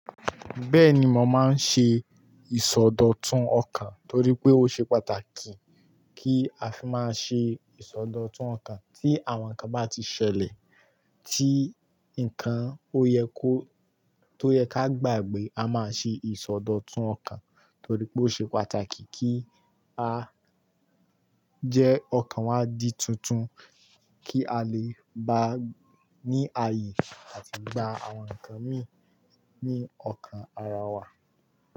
Bẹ́ẹ̀ni, mo máa ń ṣe ìsọdọ̀tun ọkàn nítorí pé ó ṣe pàtàkì kí a fi máa ṣe ìsọdọ̀tun ọkàn tí àwọn nǹkan bá ti ṣẹlẹ̀ tí nǹkan ó yẹ kó, tó yẹ ká gbàgbé a máa ṣe ìsọdọ̀tun ọkàn torí pé ó ṣe pàtàkì kí a jẹ́ ọkàn wa di tuntun kí a lè bá ní ààyè àti gba àwọn nǹkan mìíràn ní ọkàn ara wa.